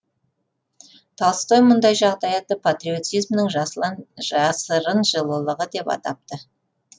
толстой мұндай жағдаятты патриотизмнің жасырын жылылығы деп атапты